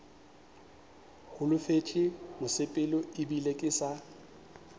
holofetše mosepelo ebile ke sa